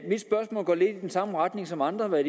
den samme retning som andres er